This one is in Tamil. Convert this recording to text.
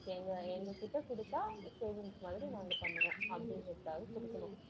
எங்க, எங்ககிட்ட கொடுத்தால் savings மாதிரி நாங்க பண்ணுவோம் அப்படிங்கிறதுக்காக கொடுக்கணும்